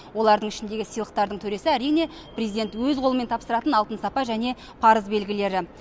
олардың ішіндегі сыйлықтардын төресі әрине президент өз қолымен тапсыратын алтын сапа және парыз белгілері